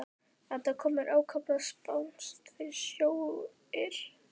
Þetta kom mér ákaflega spánskt fyrir sjónir.